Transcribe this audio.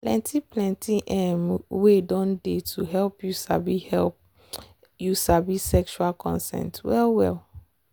plenty plenty um way don dey to help you sabi help you sabi sexual consent well well.